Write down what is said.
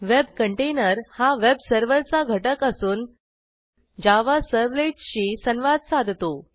web container हा web सर्व्हरचा घटक असून जावा servletsशी संवाद साधतो